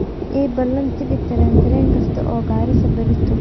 ii ballan tigidh tareen tareen kasta oo garissa berrito